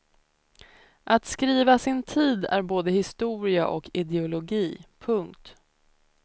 Att skriva sin tid är både historia och ideologi. punkt